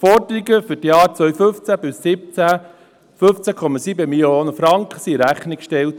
Die Forderungen für die Jahre 2015–2017 im Umfang von 15,7 Mio. Franken wurden in Rechnung gestellt.